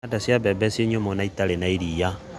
Thanda cia mbembe ciĩnyũmũ na itarĩ iria.